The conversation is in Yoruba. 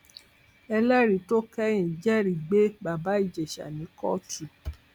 ẹlẹrìí tó kẹyìn jẹrìí gbé bàbá ìjẹsà ní kóòtù